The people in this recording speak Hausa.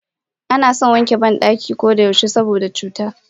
Anason wanke bandaki koda yaushe saboda cuta.